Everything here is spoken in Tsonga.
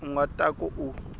u nga ta ka u